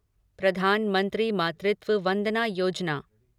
प्रधानमंत्री मातृत्व वंदना योजना